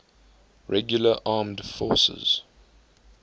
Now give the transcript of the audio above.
regular armed forces